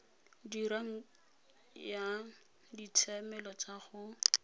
dirang ya ditshiamelo tsa go